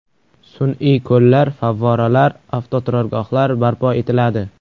Sun’iy ko‘llar, favvoralar, avtoturargohlar barpo etiladi.